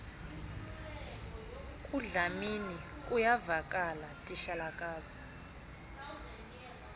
kudlamini kuyavakala titshalakazi